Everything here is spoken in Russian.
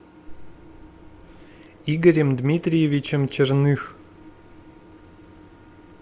игорем дмитриевичем черных